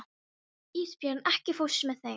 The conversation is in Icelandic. Ísbjörn, ekki fórstu með þeim?